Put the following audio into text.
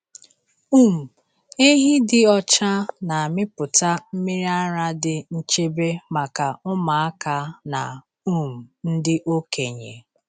um Ehi dị ọcha na-amịpụta mmiri ara dị nchebe maka ụmụaka na um ndị okenye.